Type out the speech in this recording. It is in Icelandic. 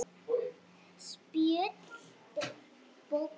Spjöld bókar